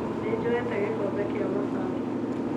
Nĩ njoete gĩkombe kĩa mabati